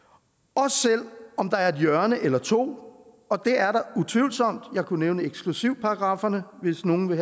også selv om der er et hjørne eller to og det er der utvivlsomt jeg kunne nævne eksklusivparagrafferne hvis nogen vil